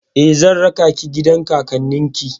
Eh, zan raka ki gidan kakannin ki.